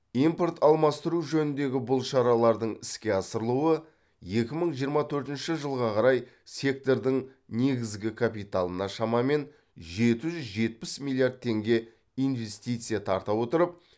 импорт алмастыру жөніндегі бұл шаралардың іске асырылуы екі мың жиырма төртінші жылға қарай сектордың негізгі капиталына шамамен жеті жүз жетпіс миллиард теңге инвестиция тарта отырып